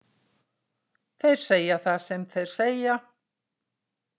Þeir segja það sem þeir segja,